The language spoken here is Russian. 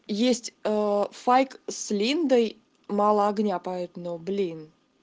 есть файк с линдой мало огня поёт но блин